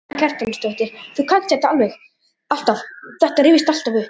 Karen Kjartansdóttir: Þú kannt þetta alltaf, þetta rifjast alltaf upp?